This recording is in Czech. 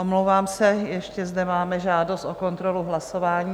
Omlouvám se, ještě zde máme žádost o kontrolu hlasování.